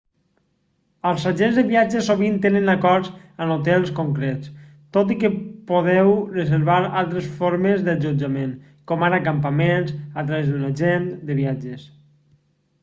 els agents de viatges sovint tenen acords amb hotels concrets tot i que podeu reservar altres formes d'allotjament com ara campaments a través d'un agent de viatges